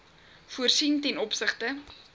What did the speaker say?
voorsien ten opsigte